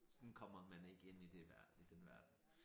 Sådan kommer man ikke ind i det verden i den verden